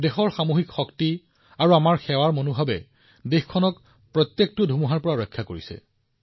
দেশৰ সামূহিক শক্তি আৰু আমাৰ সেৱাৰ মনোভাৱে দেশখনক প্ৰতিটো ধুমুহাৰ পৰা উলিয়াই আনিছে